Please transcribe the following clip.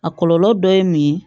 A kɔlɔlɔ dɔ ye mun ye